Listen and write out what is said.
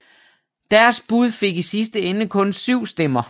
Deres bud fik i sidste ende kun syv stemmer